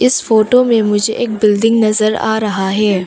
इस फोटो में मुझे एक बिल्डिंग नज़र आ रहा है।